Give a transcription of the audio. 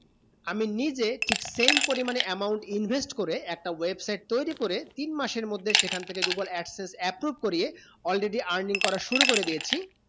আমি নিজে same পরিমাণে amount invest করে একটা website তয়রি করে তিন মাসের মধ্যে সেখান থেকে google absence approve করিয়ে already earning করা শুরু করেদিয়েছি